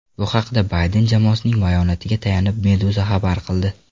Bu haqda Bayden jamoasining bayonotiga tayanib Meduza xabar qildi .